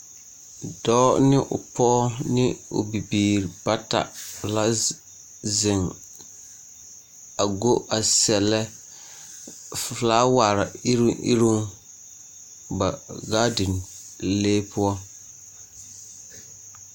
Dɔɔ ne o pɔge ne o bibiiri bata la zeŋ a go a sɛlɛ felaaware iruŋ iruŋ ba gaadinlee poɔ.